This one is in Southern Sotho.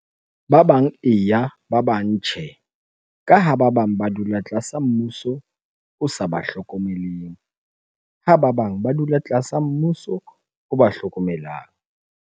Ba bang eya, ba bang tjhe. Ka ha ba bang ba dula tlasa mmuso o sa ba hlokomeleng. Ha ba bang ba dula tlasa mmuso o ba hlokomelang.